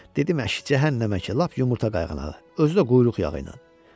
Dedim əş, cəhənnəmə ki, lap yumurta qayğanağı, özü də quyruq yağilə.